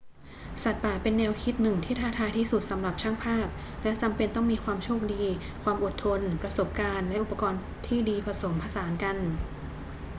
สัตว์ป่าเป็นแนวคิดหนึ่งที่ท้าทายที่สุดสำหรับช่างภาพและจำเป็นต้องมีความโชคดี ความอดทน ประสบการณ์และอุปกรณ์ที่ดีผสมผสานกัน